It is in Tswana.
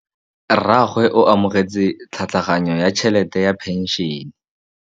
Rragwe o amogetse tlhatlhaganyô ya tšhelête ya phenšene.